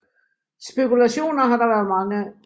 Spekulationer har der været mange af